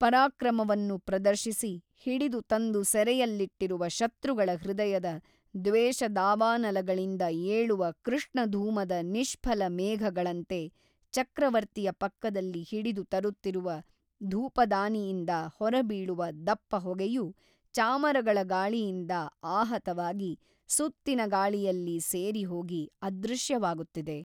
ಪರಾಕ್ರಮವನ್ನು ಪ್ರದರ್ಶಿಸಿ ಹಿಡಿದು ತಂದು ಸೆರೆಯಲ್ಲಿಟ್ಟಿರುವ ಶತ್ರುಗಳ ಹೃದಯದ ದ್ವೇಷದಾವಾನಲಗಳಿಂದ ಏಳುವ ಕೃಷ್ಣಧೂಮದ ನಿಷ್ಫಲ ಮೇಘಗಳಂತೆ ಚಕ್ರವರ್ತಿಯ ಪಕ್ಕದಲ್ಲಿ ಹಿಡಿದು ತರುತ್ತಿರುವ ಧೂಪದಾನಿಯಿಂದ ಹೊರಬೀಳುವ ದಪ್ಪ ಹೊಗೆಯು ಚಾಮರಗಳ ಗಾಳಿಯಿಂದ ಆಹತವಾಗಿ ಸುತ್ತಿನ ಗಾಳಿಯಲ್ಲಿ ಸೇರಿಹೋಗಿ ಅದೃಶ್ಯವಾಗುತ್ತಿದೆ.